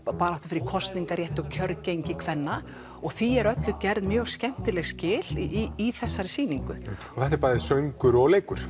barátta fyrir kosningarétti og kjörgengi kvenna því er gerð mjög skemmtileg skil í þessari sýningu þetta er bæði söngur og leikur